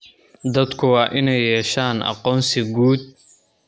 Dadku waa inay yeeshaan aqoonsi guud.